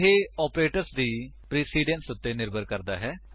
ਇਹ ਆਪਰੇਟਰਸ ਦੀ ਪ੍ਰੇਸਿਡੰਸ ਉੱਤੇ ਨਿਰਭਰ ਕਰਦਾ ਹੈ